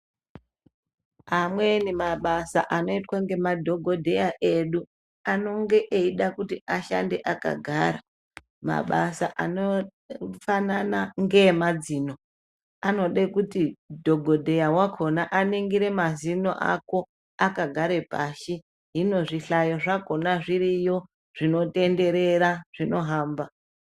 Amweni mabasa anoitwa nemadhokodheya edu anonge eida kuti ashande akagara mabasa anoshanda nemadzino anoda kuti dhokodheya akona aningire mazino Ako wakagara pashi hino zvihlayo zvakona zviriyo zvinotenderera zvinohamba.